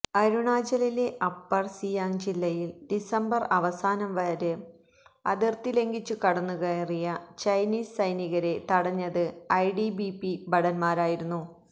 അരുണാചലിലെ Upper Siang ജില്ലയിൽ December അവസാനവാരം അതിർത്തി ലംഘിച്ചു കടന്നുകയറിയ ചൈനീസ് സൈനികരെ തടഞ്ഞത് ഐടിബിപി ഭടന്മാരായിരുന്നു